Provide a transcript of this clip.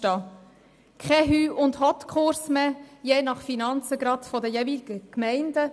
Es darf keinen Hüst- und Hott-Kurs je nach finanzieller Möglichkeit einer Gemeinde geben.